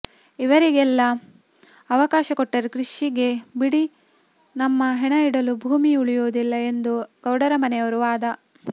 ಇವರಿಗೆಲ್ಲಾ ಅವಕಾಶ ಕೊಟ್ಟರೆ ಕೃಷಿಗೆ ಬಿಡಿ ನಮ್ಮ ಹೆಣ ಇಡಲು ಭೂಮಿ ಉಳಿಯುವುದಿಲ್ಲ ಎಂದು ಗೌಡರ ಮನೆಯವರ ವಾದ